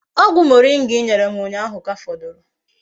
Ogwu moringa I nyere m unyahu ka foduru